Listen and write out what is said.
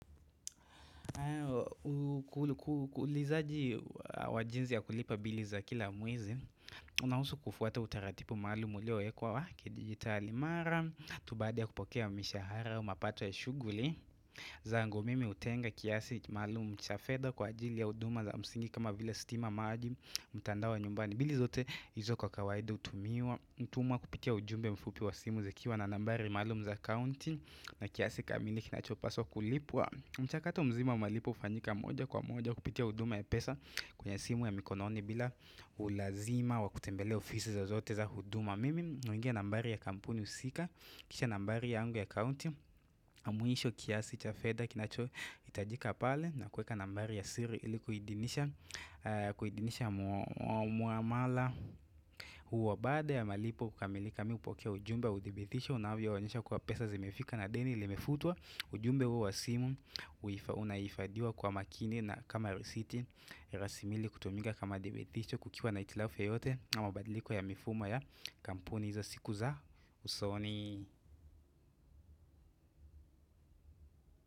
Kulizaji wajinzi ya kulipa bili za kila mwezi Unausu kufuata utaratipu maalumu uliowekwa wa kidigitali mara tu baada ya kupokea mishahara au mapato ya shuguli zangu mimi hutenga kiasi maalumu cha fedha kwa ajili ya uduma za msingi kama vile stima maji mtandao wa nyumbani bili zote hizo kwa kawaidi utumiwa Utumwa kupitia ujumbe mfupi wa simu zikiwa na nambari maalumu za kaunti na kiasi kamili kinachopaswa kulipwa mchakato mzima wa malipo ufanyika moja kwa moja kupitia huduma ya pesa kwenye simu ya mikononi bila ulazima wa kutembelea ofisi za zote za huduma. Mimi huingia nambari ya kampuni husika, kisha nambari yangu ya county, na mwisho kiasi cha fedha kinacho hitajika pale na kuweka nambari ya siri iliku idinisha muamala. Uwa baada ya malipo kukamilika mi hupokea ujumbe wa udhibitisho unavyo onyesha kuwa pesa zimefika na deni Limefutwa ujumbe huu wa simu Unaifadhiwa kwa makini na kama risiti rasimili kutumika kama dhibitisho kukiwa na hitilafu yoyote au mabadiliko ya mifumon ya kampuni Izo siku za usoni.